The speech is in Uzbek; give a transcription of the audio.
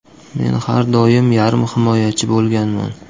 Men har doim yarim himoyachi bo‘lganman.